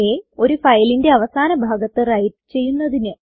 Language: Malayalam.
അ ഒരു ഫയലിന്റെ അവസാന ഭാഗത്ത് വ്രൈറ്റ് ചെയ്യുന്നതിന്